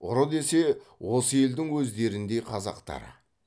ұры десе осы елдің өздеріндей қазақтары